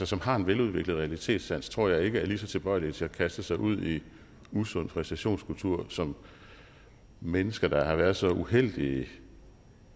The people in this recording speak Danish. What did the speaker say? som har en veludviklet realitetssans tror jeg ikke er lige så tilbøjelige til at kaste sig ud i en usund præstationskultur som mennesker der har været så uheldige